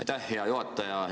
Aitäh, hea juhataja!